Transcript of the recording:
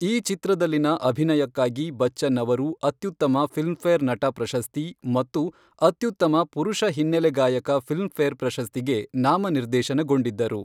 ಈ ಚಿತ್ರದಲ್ಲಿನ ಅಭಿನಯಕ್ಕಾಗಿ ಬಚ್ಚನ್ ಅವರು ಅತ್ಯುತ್ತಮ ಫಿಲ್ಮ್ಫೇರ್ ನಟ ಪ್ರಶಸ್ತಿ ಮತ್ತು ಅತ್ಯುತ್ತಮ ಪುರುಷ ಹಿನ್ನೆಲೆ ಗಾಯಕ ಫಿಲ್ಮ್ಫೇರ್ ಪ್ರಶಸ್ತಿಗೆ ನಾಮನಿರ್ದೇಶನಗೊಂಡ್ಡಿದ್ದರು.